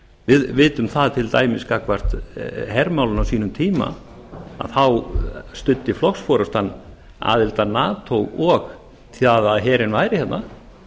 við vitum það til dæmis gagnvart hermálunum á sínum tíma að þá studdi flokksforustan aðild að nato og því að herinn væri hérna